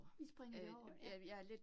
Vi springer det over, ja